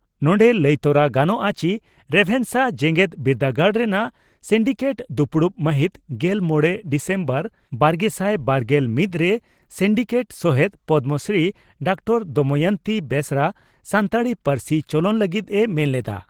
ᱱᱚᱸᱰᱮ ᱞᱟᱹᱭᱛᱚᱨᱟ ᱜᱟᱱᱚᱜᱼᱟ ᱪᱤ ᱨᱮᱵᱷᱮᱥᱟ ᱡᱮᱜᱮᱛ ᱵᱤᱨᱫᱟᱹᱜᱟᱲ ᱨᱮᱱᱟᱜ ᱥᱤᱱᱰᱤᱠᱮᱴ ᱫᱩᱯᱲᱩᱵ ᱢᱟᱦᱤᱛ ᱜᱮᱞ ᱢᱚᱲᱮ ᱰᱤᱥᱮᱢᱵᱚᱨ ᱵᱟᱨᱜᱮᱥᱟᱭ ᱵᱟᱨᱜᱮᱞ ᱢᱤᱛ ᱨᱮ ᱥᱤᱱᱰᱤᱠᱮᱴ ᱥᱚᱦᱮᱛ ᱯᱚᱫᱽᱢᱚᱥᱨᱤ ᱰᱨᱹ ᱫᱚᱢᱚᱭᱚᱱᱛᱤ ᱵᱮᱥᱨᱟ ᱥᱟᱱᱛᱟᱲᱤ ᱯᱟᱹᱨᱥᱤ ᱪᱚᱞᱚᱱ ᱞᱟᱹᱜᱤᱫ ᱮ ᱢᱮᱱ ᱞᱮᱫᱼᱟ ᱾